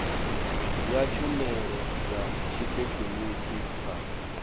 ya tshumelo ya tshithekhiniki kha